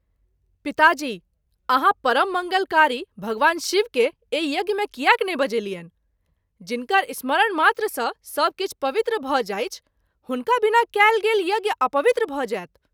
पिताजी! आहाँ परम मंगलकारी भगवान शिव के एहि यज्ञ मे किएक नहिं बजेलियनि ? जिनकर स्मरण मात्र सँ सभ किछु पवित्र भ’ जाइछ, हुनका बिना कएल गेल यज्ञ अपवित्र भ’ जाएत।